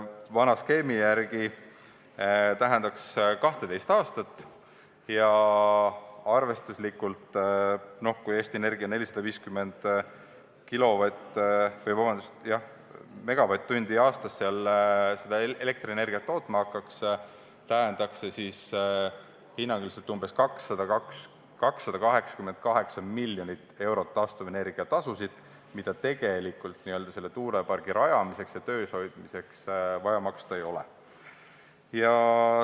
Vana skeemi järgi tähendaks see 12 aastat ja arvestuslikult, kui Eesti Energia hakkaks seal elektrienergiat tootma 450 megavatt-tundi aastas, umbes 288 miljonit eurot taastuvenergia tasu, mida tegelikult tuulepargi rajamiseks ja töös hoidmiseks vaja maksta ei oleks.